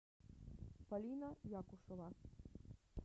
полина якушева